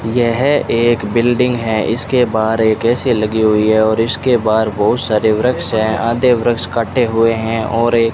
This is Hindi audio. यह एक बिल्डिंग है इसके बाहर एक ए_सी लगी हुई है और इसके बाहर बहुत सारे वृक्ष है आधे वृक्ष काटे हुए हैं और एक --